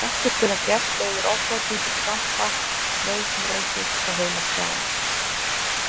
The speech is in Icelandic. Ef ekkert er að gert leiðir ofþornun til krampa, meðvitundarleysis og heilaskaða.